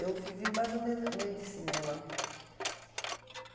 Eu vivi mais ou menos no meio de cinema.